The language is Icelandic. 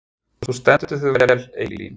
Þú stendur þig vel, Eylín!